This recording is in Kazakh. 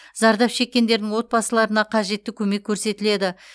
зардап шеккендердің отбасыларына қажетті көмек көрсетіледі